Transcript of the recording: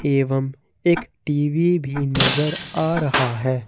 एवं एक टी_वी भी नजर आ रहा है।